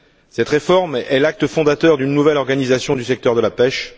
Cette réforme est l'acte fondateur d'une nouvelle organisation du secteur de la pêche